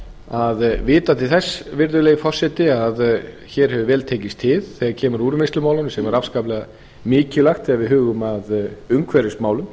að vita til þess virðulegi forseti að hér hefur vel tekist til þegar kemur að úrvinnslumálunum sem er afskaplega mikilvægt þegar við hugum að umhverfismálum